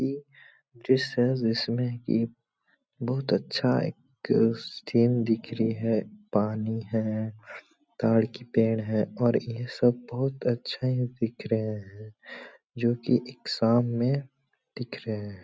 ये दृश्य है जिसमें की बहुत अच्छा एक सीन दिख रही है पानी है ताड़ की पेड़ हैं और ये सब बहुत अच्छा दिख रहा हैं जोकि एक शाम मे दिख रहे हैं।